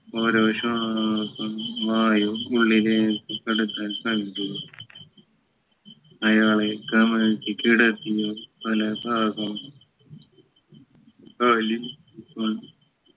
ഓരോ ശ്വാസം മായും ഉള്ളിലേക്ക് കടത്താൻ ശ്രമിക്കുക അയാളെ കമിഴ്ത്തി കിടത്തി തല ഭാഗം